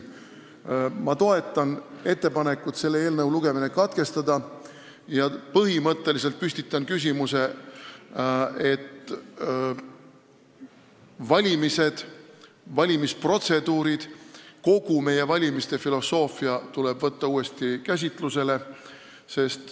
Ma toetan ettepanekut selle eelnõu lugemine katkestada ja põhimõtteliselt püstitan küsimuse, et valimisprotseduurid ja kogu valimiste filosoofia tuleb võtta uuesti käsitlusele.